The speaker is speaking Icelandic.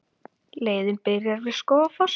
Leiðin byrjar við Skógafoss.